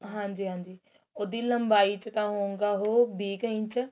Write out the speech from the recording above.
ਹਾਂਜੀ ਹਾਂਜੀ ਉਹਦੀ ਲੰਬਾਈ ਚ ਤਾਂ ਉਹ ਹੋਊਗਾ ਉਹ ਵੀਹ ਕ ਇੰਚ